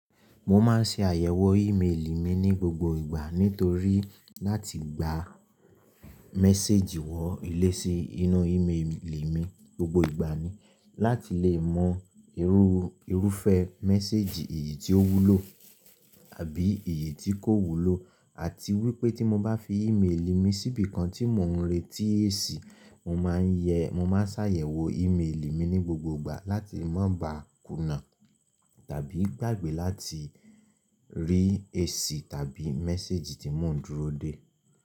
Mo máa ń ṣe àyẹ̀wò ímélì mi ní gbogbo ìgbà nítorí láti gba mésèjì wọ ilé sí inú ímélì mi gbogbo ìgbà ni láti lè mọ irú, irúfẹ́ mésèjì èyí tí ó wúlò àbí èyí tí kò wúlò àti wípé tí mo bá fi ímélì mi síbi kan tí mò ń retí èsì, mo máa ń yẹ, mo máa sáyẹ̀wò ímélì mi ní gbogbo ìgbà láti má ba kùnà tàbí gbàgbé láti rí èsì tàbí mésèjì tí mò ń dúró dè.